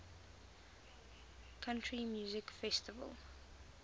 country music festival